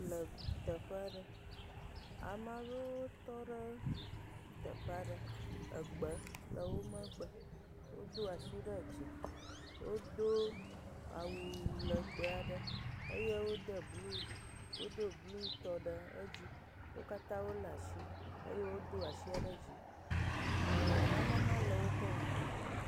Le teƒe ɖe. Ame aɖewo tɔ ɖe teƒe aɖe. Egbe le wo megbe. Wodo asi ɖe dzi. Wodo awu lɛgbɛ aɖe eye wode blu, wodo blutɔ ɖe edzi. Wo katã wolé asi eye wodo asia ɖe dzi ɛɛ nane hã le woƒe ŋkume.